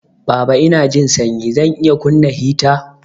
Baba Inanjin sanyi. Zan iya kunna heater